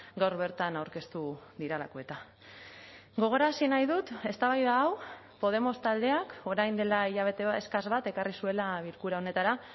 gaur bertan aurkeztu direlako eta gogorarazi nahi dut eztabaida hau podemos taldeak orain dela hilabete eskas bat ekarri zuela bilkura honetara